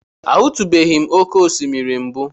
Ahụtụbeghị m oké osimiri mbụ.